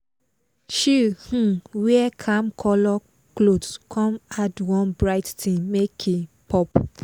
she um wear calm colour cloth come add one bright thing make e pop.